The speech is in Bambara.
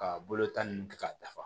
Ka bolo tan ninnu kɛ k'a dafa